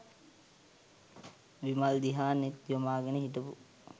විමල් දිහා නෙත් යොමාගෙන හිටපු